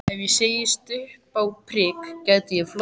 Ef ég settist upp á prik gæti ég flogið.